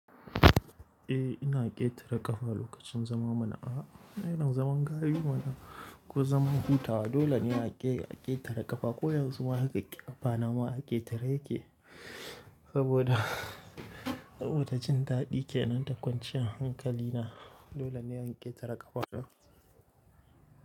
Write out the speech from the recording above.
Eh ina ƙetare ƙafa lokacin zaman mana a ana zaman gayu mana ko zaman hutawa dole ne a ƙe a ƙetare ƙafa ko yanzu ma haka ƙafa nama a ƙetare yake saboda, saboda jin daɗi kenan da kwanciyar hankali na dole ne in ƙetare ƙafa.